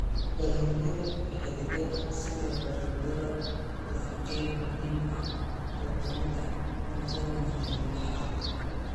Dalagyada xididdada sida baradhada waa qayb muhiim ah oo ka mid ah cuntada maalinlaha ah.